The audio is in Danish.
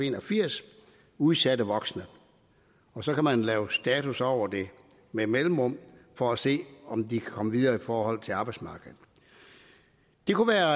en og firs udsatte voksne og så kan man lave status over det med mellemrum for at se om de kan komme videre i forhold til arbejdsmarkedet det kunne være